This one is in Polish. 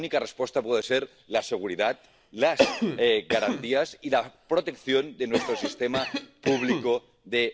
społecznego. Pamiętajmy, że utrzymanie 24 miesięcy, w ramach których pracownik pozostaje w systemie zabezpieczenia kraju pochodzenia, zapewnia to bezpieczeństwo.